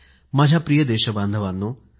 माझ्या प्रिय देश बांधवानो